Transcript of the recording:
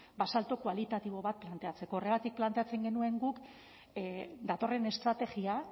salto kualitatibo bat planteatzeko horregatik planteatzen genuen guk datorren estrategia